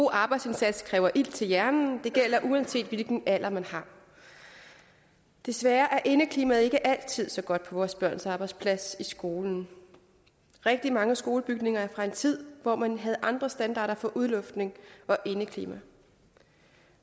arbejdsindsats kræver ilt til hjernen det gælder uanset hvilken alder man har desværre er indeklimaet ikke altid så godt på vores børns arbejdsplads i skolen rigtig mange skolebygninger er fra en tid hvor man havde andre standarder for udluftning og indeklima